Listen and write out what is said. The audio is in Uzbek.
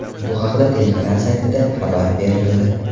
Bu haqda telekanal saytida xabar berildi .